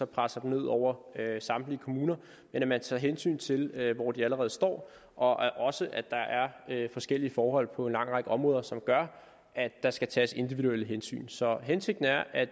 presser den ned over samtlige kommuner men at man tager hensyn til hvor de allerede står og også at der er forskellige forhold på en lang række områder som gør at der skal tages individuelle hensyn så hensigten er at